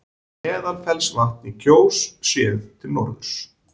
Meðalfellsvatn í Kjós, séð til norðurs.